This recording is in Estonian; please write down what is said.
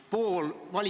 Tänan küsimast!